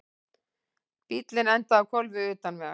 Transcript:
Bíllinn endaði á hvolfi utan vegar